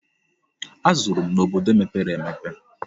Azụrụ m n'obodo mepere emepe.